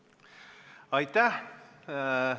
Aitäh!